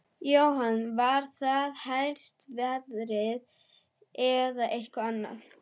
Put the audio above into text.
Jóhann: Var það helst veðrið eða eitthvað annað?